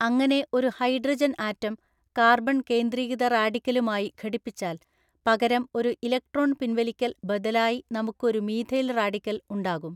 അങ്ങനെ ഒരു hydrogen atom carbon കേന്ദ്രീകൃത റാഡിക്കലുമായി ഘടിപ്പിച്ചാൽ പകരം ഒരു ഇലക്ട്രോൺ പിൻവലിക്കൽ ബദലായി നമുക്ക് ഒരു മീഥൈൽ റാഡിക്കൽ ഉണ്ടാകും.